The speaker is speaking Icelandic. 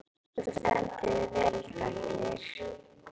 Þú stendur þig vel, Daggeir!